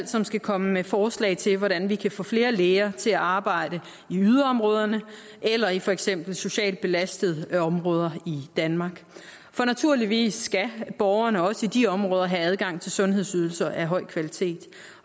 som skal komme med forslag til hvordan vi kan få flere læger til at arbejde i yderområderne eller i for eksempel socialt belastede områder i danmark for naturligvis skal borgerne også i de områder have adgang til sundhedsydelser af høj kvalitet